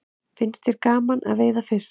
Finnst þér gaman að veiða fisk?